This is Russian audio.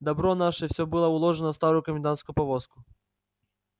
добро наше все было уложено в старую комендантскую повозку